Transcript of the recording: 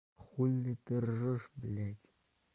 хули ты ржёшь бляди